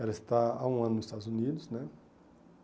Ela está há um ano nos Estados Unidos né.